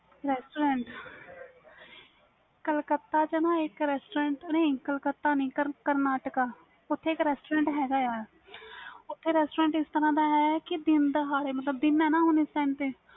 restaurants Calcutta ਵਿਚ ਨਾ ਇਕ restaurants ਨਹੀਂ ਕਲਕੱਤਾ ਨਹੀਂ ਕਰਨਾਟਕਾ ਓਥੇ ਇਕ restaurants ਹੈ ਗੇ ਆ ਓਥੇ restaurants ਇਸ ਤਰਾਂ ਦਾ ਆ ਕਿ ਦਿਨ ਦਿਹਾੜੇ ਮਤਬਲ ਦਿਨ ਹੈ ਨਾ ਇਸ time